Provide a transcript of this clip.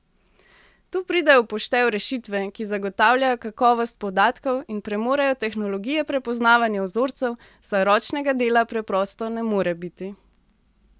Tu pridejo v poštev rešitve, ki zagotavljajo kakovost podatkov in premorejo tehnologije prepoznavanja vzorcev, saj ročnega dela preprosto ne more biti.